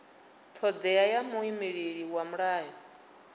thodea ya muimeleli wa mulayo